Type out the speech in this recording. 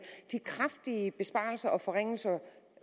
de kraftige besparelser og forringelser